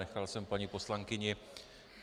Nechal jsem paní poslankyni.